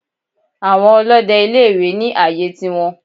Àwọn Olóde ilé ìwé ní àyè tiwọn